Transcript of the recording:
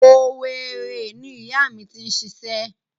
Owerri ni ìyá mi ti ń ṣiṣẹ́.